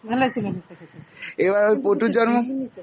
এবার ওই পোটুর জন্ম।